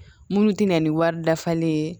Minnu tɛna ni wari dafalen ye